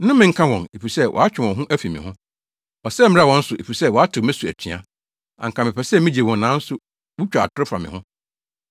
Nnome nka wɔn, efisɛ wɔatwe wɔn ho afi me ho! Ɔsɛe mmra wɔn so efisɛ wɔatew me so atua! anka mepɛ sɛ migye wɔn nanso wutwa atoro fa me ho.